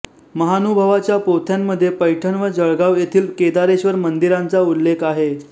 महानुभावाच्या पोथ्यांमध्ये पैठण व जळगाव येथील केदारेश्वर मंदिरांचा उल्लेख आहे